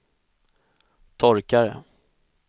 torkare